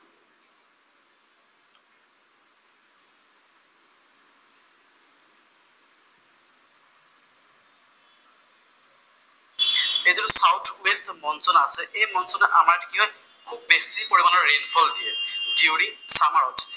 যিটো south west monsoon আছে, এই মনচুনে আমাক কি হয় খুউব বেছি পৰিমাণৰ ৰেইন ফল দিয়ে, দিউৰিং চামাৰত।